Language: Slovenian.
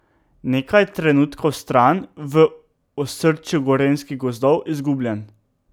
Nekaj trenutkov stran, v osrčju gorenjskih gozdov, izgubljen.